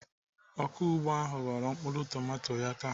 Ọkụ ugbo ahụ ghọrọ mkpụrụ tomato ya taa.